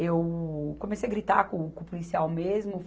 Eu comecei gritar com o, com o policial mesmo.